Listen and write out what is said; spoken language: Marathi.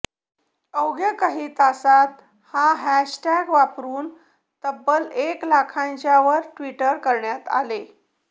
अवघ्या काही तासांत हा हॅशटॅग वापरून तब्बल एक लाखाच्यावर ट्विट करण्यात आले